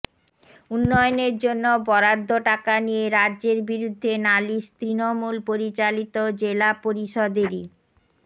উন্নয়নের জন্য বরাদ্দ টাকা নিয়ে রাজ্যের বিরুদ্ধে নালিশ তৃণমূল পরিচালিত জেলা পরিষদেরই